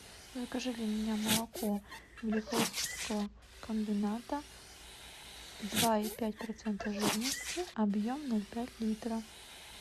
закажи для меня молоко великоустюгского комбината два и пять процента жирности объем ноль пять литра